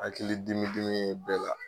Hakili dimidimi ye bɛɛ la